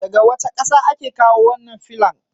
Daga wace ƙasa ake kawo wannan filon?